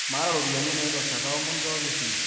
maata ropiyani naitosha kaomon nchooki esile